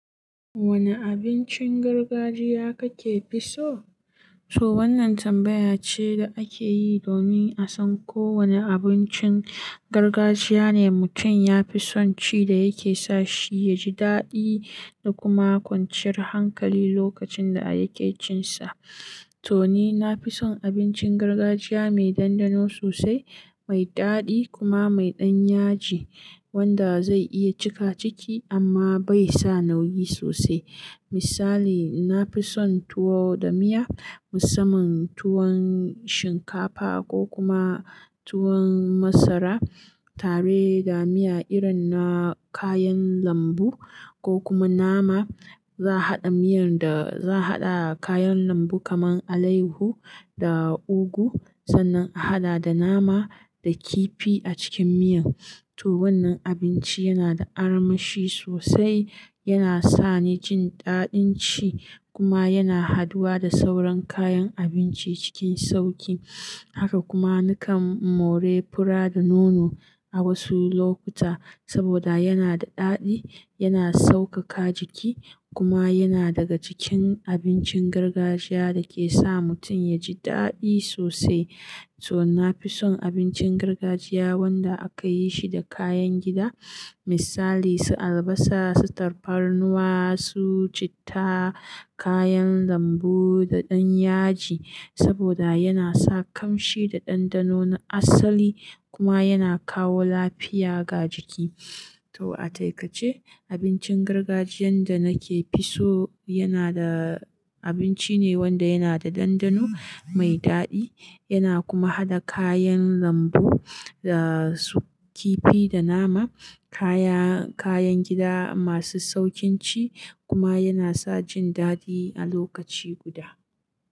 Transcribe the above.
Wane abincin gargajiya kake fi so? To wannan tambaya ce da ake yi domin a san ko wane abincin gargajiya ne mutum ya fi son ci da yake sa shi ya ji daɗi da kuma kwanciyar hankali lokacin da yake cinsa. To ni na fi son abincin gargajiya mai ɗanɗano sosai, mai daɗi kuma mai ɗan yaji wanda zai iya cika ciki amma bai sa nauyi sosai. Misali, na fi son tuwo da miya, musamman tuwon shinkafa ko kuma tuwon masara tare da miya irin na kayan lambu ko kuma nama. Za'a haɗa miyar da za'a haɗa kayan lambu kamar alehu da ugu sannan a haɗa da nama da kifi a cikin miyan. To wannan abinci yana da armashi sosai, yana sa ni jin daɗin ci kuma yana haduwa da sauran kayan abinci cikin sauƙi. Haka kuma nakan more fura da nono a wasu lokuta saboda yana da daɗi, yana sauƙaƙa jiki kuma yana daga cikin abincin gargajiya da ke sa mutum ya ji daɗi sosai. To na fi son abincin gargajiya wanda aka yi shi da kayan gida. Misali su albasa, su tafarnuwa, su citta, kayan lambu da ɗan yaji saboda yana sa ƙamshi da ɗanɗano na asali kuma yana kawo lafiya ga jiki. To a takaice abincin gargajiyan da nake fi so yana da abinci ne wanda yana da ɗanɗano, mai daɗi yana kuma haɗa kayan lambu da kifi da nama, kaya-kayan gida masu sauƙin ci kuma yana sa jin daɗi a lokaci guda.